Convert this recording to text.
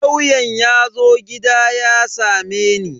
Lauyan yazo gida ya sameni.